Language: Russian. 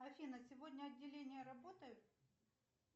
афина сегодня отделение работает